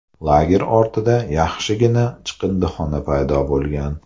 Lager ortida yaxshigina chiqindixona paydo bo‘lgan.